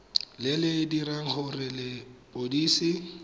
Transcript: le le dirang gore lepodisi